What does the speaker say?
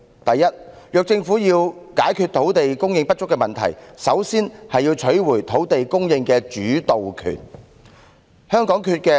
第一，如果政府要解決土地供應不足的問題，首先要取回土地供應的主導權。